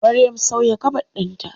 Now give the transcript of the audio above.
Maryam sauya kabod ɗinta.